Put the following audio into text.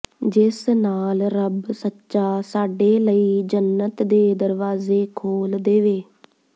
ਜਿਸ ਨਾਲ ਰੱਬ ਸੱਚਾ ਸਾਡੇ ਲਈ ਜੰਨਤ ਦੇ ਦਰਵਾਜ਼ੇ ਖੋਲ ਦੇਵੇ